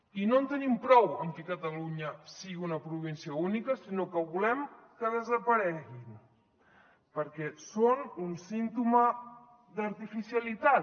i no en tenim prou amb que catalunya sigui una província única sinó que volem que desapareguin perquè són un símptoma de l’artificialitat